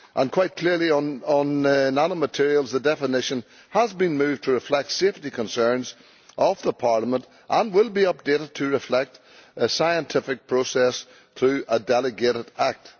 Quite clearly, on nanomaterials, the definition has been moved to reflect safety concerns of Parliament and will be updated to reflect a scientific process through a delegated act.